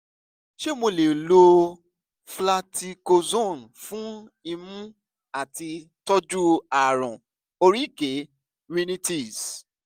ṣé mo lè lo fluticasone fún imú láti tọ́jú ààrùn oríkèé rhinitis?